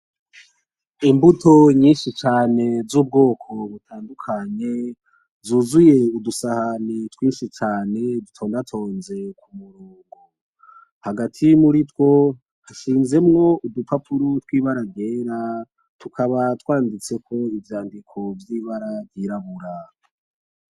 Imbuto nyinshi cane z'ubwoko butandukanye zuzuye udusahani twinshi cane dutondatonze hagati muritwo hashizemwo udupapuro tw'ibara ryera tukaba twanditseko ivyandiko vy'ibara ry'irabura.